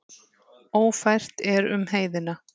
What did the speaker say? Ófært er um heiðina.